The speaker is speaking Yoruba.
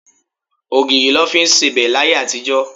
Ogìrì lọ fí ń sebẹ̀ láyé àtijó.